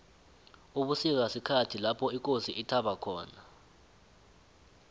ubusika sikhhathi lopho ikosi ithaba khona